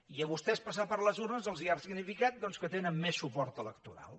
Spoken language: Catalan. i a vostès passar per les urnes els ha significat que tenen més suport electoral